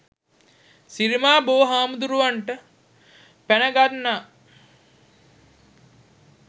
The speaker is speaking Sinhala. සිරිමා බෝ හාමුදුරුවන්ට පැන් ගන්නා